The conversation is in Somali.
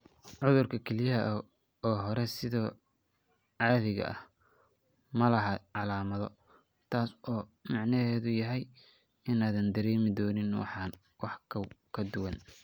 Cudurka kelyaha ee hore sida caadiga ah ma laha calaamado, taas oo macnaheedu yahay inaadan dareemi doonin wax ka duwan.